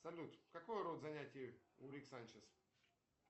салют какой род занятий у рик санчез